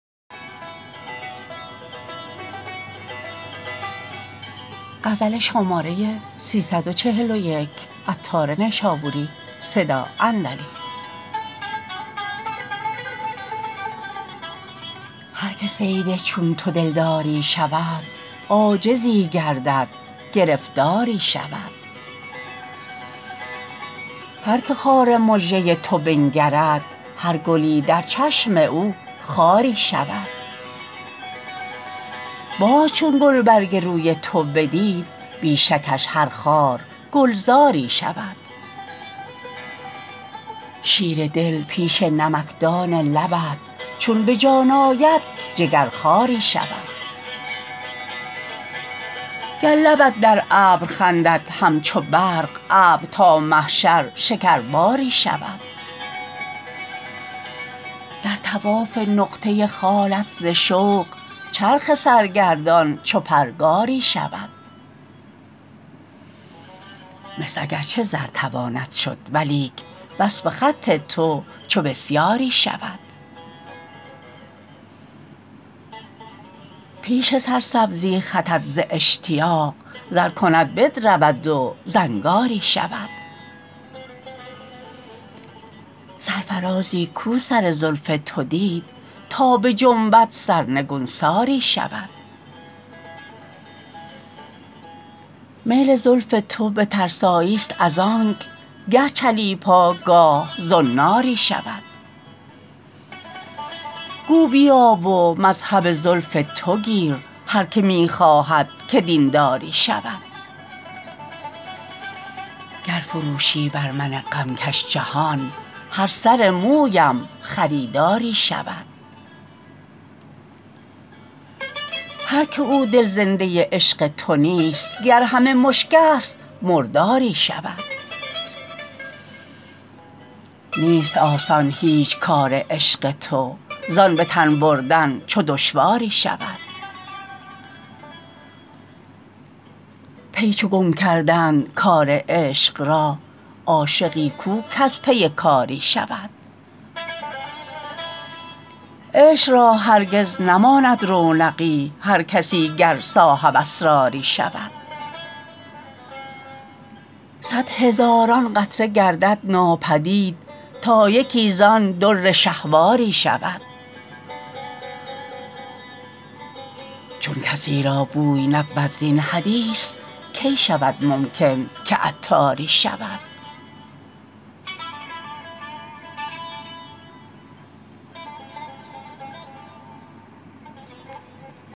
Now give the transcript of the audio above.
هر که صید چون تو دلداری شود عاجزی گردد گرفتاری شود هر که خار مژه تو بنگرد هر گلی در چشم او خاری شود باز چون گلبرگ روی تو بدید بی شکش هر خار گلزاری شود شیر دل پیش نمکدان لبت چون به جان آید جگرخواری شود گر لبت در ابر خندد همچو برق ابر تا محشر شکرباری شود در طواف نقطه خالت ز شوق چرخ سرگردان چو پرگاری شود مس اگرچه زر تواند شد ولیک وصف خط تو چو بسیاری شود پیش سرسبزی خطت زاشتیاق زر کند بدرود و زنگاری شود سرفرازی کو سر زلف تو دید تا بجنبد سرنگونساری شود میل زلف تو به ترسایی است از آنک گه چلیپا گاه زناری شود گو بیا و مذهب زلف تو گیر هر که می خواهد که دینداری شود گر فروشی بر من غمکش جهان هر سر مویم خریداری شود هر که او دل زنده عشق تو نیست گر همه مشک است مرداری شود نیست آسان هیچ کار عشق تو زان به تن بردن چو دشواری شود پی چو گم کردند کار عشق را عاشقی کو کز پی کاری شود عشق را هرگز نماند رونقی هر کسی گر صاحب اسراری شود صدهزاران قطره گردد ناپدید تا یکی زان در شهواری شود چون کسی را بوی نبود زین حدیث کی شود ممکن که عطاری شود